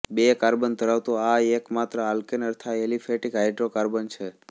બે કાર્બન ધરાવતું આ એકમાત્ર આલ્કેન અર્થાત એલિફેટિક હાઇડ્રોકાર્બન છે